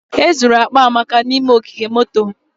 E zuru akpa Amaka n'ime ogige moto